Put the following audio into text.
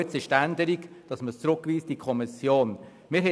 Es wird beantragt, ihn in die Kommission zurückzuweisen.